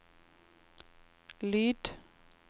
lyd